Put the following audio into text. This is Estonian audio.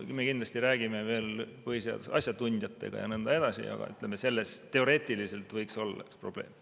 Me kindlasti räägime veel põhiseaduse asjatundjatega ja nii edasi, aga ütleme, selles teoreetiliselt võiks olla probleem.